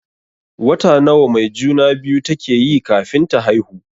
Wata nawa mai juna-biyu take yi kafin ta haihu?